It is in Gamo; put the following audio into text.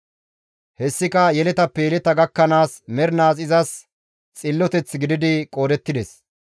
Hessika yeletappe yeleta gakkanaas mernaas izas xilloteth gididi qoodettides.